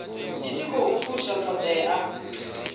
i tshi khou fusha ṱhoḓea